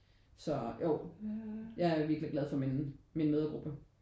Så jo jeg er virkelig glad for min min mødregruppe